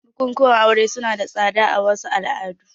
Bukukuwan aure suna da tsada a wasu al'adun